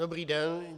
Dobrý den.